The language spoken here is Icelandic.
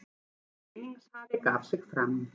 Vinningshafi gaf sig fram